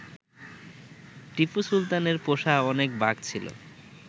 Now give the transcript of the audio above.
টিপু সুলতানের পোষা অনেক বাঘ ছিল